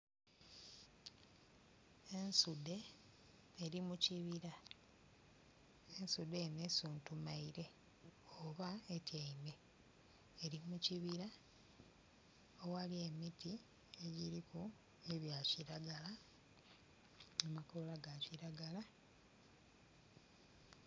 Ensudhe eri mu kibiri, ensudhe eno esuntumaire, oba etyaime. Eri mu kibira awali emiti egiriku ebya kiragala. Ebikoola bya kiragala.